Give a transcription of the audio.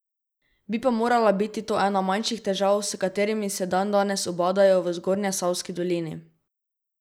Bi pa morala biti to ena manjših težav, s katerimi se dandanes ubadajo v Zgornjesavski dolini.